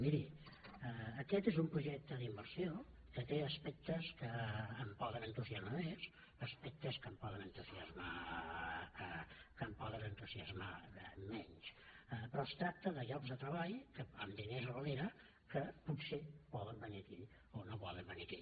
miri aquest és un projecte d’inversió que té aspectes que em poden entusiasmar més aspectes que em poden entusiasmar menys però es tracta de llocs de treball amb diners a darrere que potser poden venir aquí o no poden venir aquí